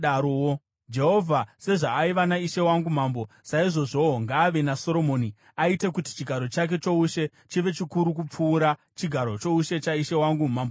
Jehovha sezvaaiva naishe wangu mambo, saizvozvowo ngaave naSoromoni, aite kuti chigaro chake choushe chive chikuru kupfuura chigaro choushe chaishe wangu Mambo Dhavhidhi!”